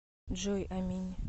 джой аминь